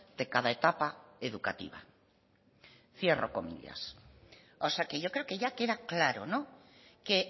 de cada etapa educativa cierro comillas o sea que yo creo que ya queda claro que